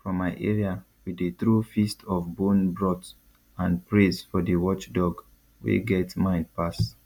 for my area we dey throw feast of bone broth and praise for the watchdog wey get mind pass